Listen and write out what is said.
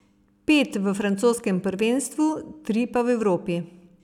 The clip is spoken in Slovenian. Pet v francoskem prvenstvu, tri pa v Evropi.